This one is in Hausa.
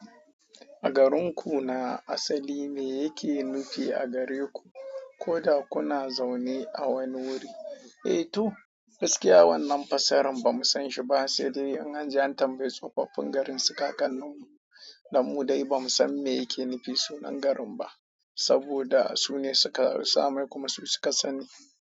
A garinku na asali me yake nufi a gare ku, ko da kuna zaune a wani wuri? Eh to, gaskiya wannan fassarar ba mu san shi ba, sai dai an aje an tambayi tsofaffin garin su kakan nan da mu dai ba mu san me yake nufi sunan garin ba, saboda su ne suka samu kuma su suka sani.